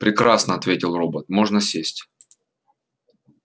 прекрасно ответил робот можно сесть